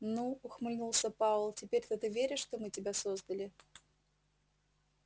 ну ухмыльнулся пауэлл теперь-то ты веришь что мы тебя создали